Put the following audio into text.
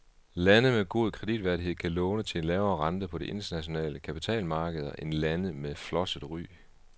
Lande med god kreditværdighed kan låne til en lavere rente på de internationale kapitalmarkeder end lande med flosset ry.